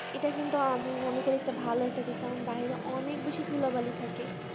এটা কিন্তু আমি মনে করি একটা ভালো একটা দিক কারণ বাইরে অনেক বেশি ধুলাবালি থাকে